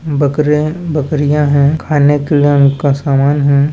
बकरे-बकरियाँ है खाने के लिए उनका सामान हैं।